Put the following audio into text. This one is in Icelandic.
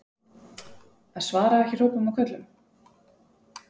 Að svara ekki hrópum og köllum?